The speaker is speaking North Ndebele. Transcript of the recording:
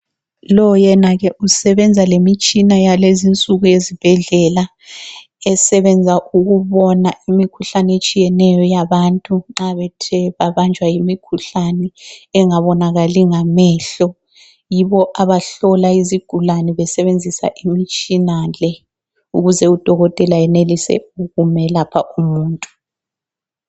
Lo yena ke usebenza lemitshina yakulezi insuku yezibhedlela esebenza ukubona imikhuhlane etshiyeneyo yabantu nxa bethe babanjwa yimikhuhlane engabonakali ngamehlo ,yibo abahlola izigulane besebenzisa imitshina le ,ukuze Udokotela enelise ukumelapha umuntu.